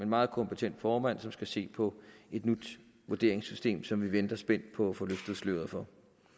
meget kompetent formand som skal se på et nyt vurderingssystem som vi venter spændt på at få løftet sløret for